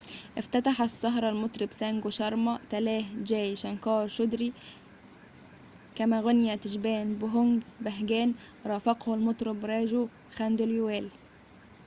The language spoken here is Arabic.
افتتح السهرة المطرب سانجو شارما تلاه جاي شانكار شودري كما غنى تشابان بهوج بهاجان رافقه المطرب راجو خانديلوال